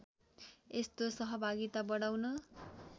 यस्तो सहभागिता बढाउन